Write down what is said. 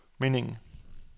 meningen